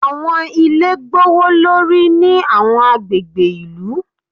Àwọn ilé gbówólórí ní àwọn agbègbè ìlú.